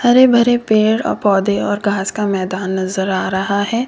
हरे भरे पेड़ और पौधे और घास का मैदान नजर आ रहा है।